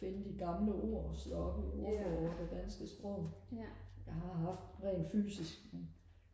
finde de gamle ord og slå op i ordbogen og det danske sprog jeg har haft den fysisk men